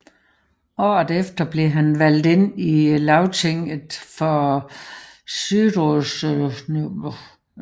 Året efter blev han valgt ind i Lagtinget for Suðurstreymoy